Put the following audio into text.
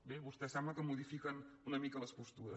bé vostès sembla que modifiquen una mica les postures